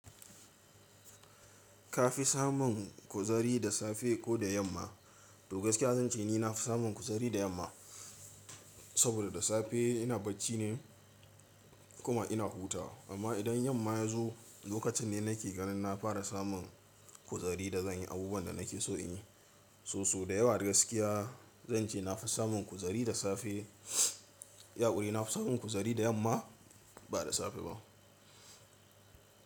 Ka fi samun kuzari da safe ko da yamma? Toh gaskiya zan ce ni nafi samun kuzari da yamma, saboda da safe ina bacci ne kuma ina hutawa. Amma idan yamma ya zo lokacin ne nake ganin na fara samun kuzari da zan yi abubuwan da nake so in yi. So so da yawa da gaskiya zan ce nafi samun kuzari da safe. Ya ƙuri nafi samun kuzari da yamma ba da safe ba.